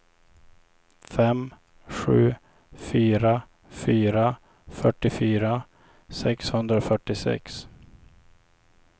fem sju fyra fyra fyrtiofyra sexhundrafyrtiosex